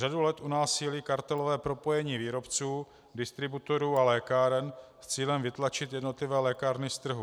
Řadu let u nás sílí kartelové propojení výrobců, distributorů a lékáren s cílem vytlačit jednotlivé lékárny z trhu.